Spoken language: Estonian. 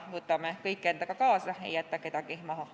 Võtame kõik endaga kaasa ega jäta kedagi maha.